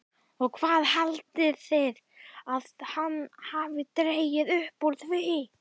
OG HVAÐ HALDIÐI AÐ HANN HAFI DREGIÐ UPP ÚR ÞVÍ?